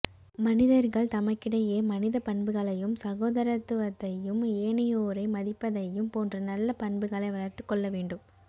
மனிதர்கள் தமக்கிடையே மனிதப் பண்புகளையும் சகோதரத்துவத்தையும் ஏனையோரை மதிப்பதையும் போன்ற நல்ல பண்புகளை வளர்த்துக் கொள்ள வேண்டும்